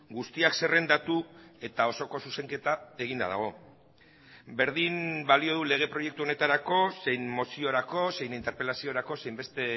guztiak zerrendatu eta osoko zuzenketa eginda dago berdin balio du lege proiektu honetarako zein moziorako zein interpelaziorako zein beste